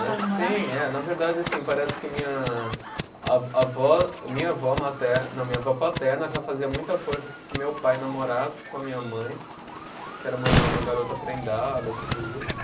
Namorar. Sim, é, na verdade, assim, parece que minha a avó, minha avó mater, não, minha avó paterna já fazia muita força que meu pai namorasse com a minha mãe, que era uma uma garota prendada, tudo isso.